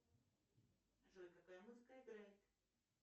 джой какая музыка играет